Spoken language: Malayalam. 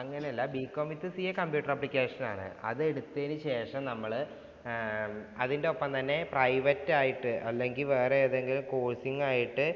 അങ്ങനെയല്ല. Bcom withCAcomputer application ആണ്. അത് എടുത്തതിനു ശേഷം നമ്മള് ആഹ് അതിന്‍റൊപ്പം തന്നെ private ആയിട്ട് അല്ലെങ്കില്‍ വേറെ ഏതെങ്കിലും coaching ആയിട്ട്